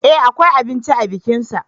E akwai abinci a bikinsa.